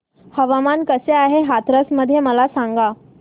हवामान कसे आहे आज हाथरस मध्ये मला सांगा